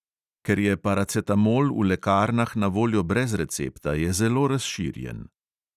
Ker je paracetamol v lekarnah na voljo brez recepta, je zelo razširjen.